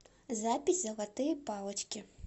запись золотые палочки